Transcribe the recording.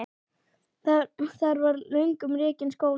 Þar var löngum rekinn skóli.